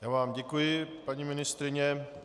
Já vám děkuji, paní ministryně.